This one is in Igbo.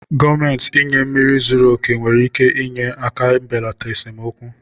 Gọọmenti inye mmiri zuru oke nwere ike inye aka belata esemokwu mmiri